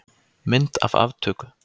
Mynd af aftöku.